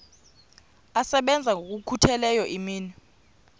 asebenza ngokokhutheleyo imini